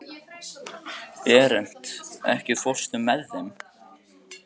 Berent, ekki fórstu með þeim?